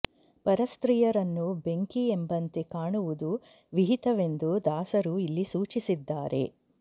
ಪರಸ್ತ್ರೀಯರನ್ನು ಬೆಂಕಿ ಎಂಬಂತೆ ಕಾಣುವುದು ವಿಹಿತವೆಂದು ದಾಸರು ಇಲ್ಲಿ ಸೂಚಿಸಿದ್ದಾರೆ